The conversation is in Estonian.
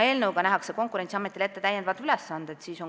Eelnõuga nähakse Konkurentsiametile ette täiendavad ülesanded.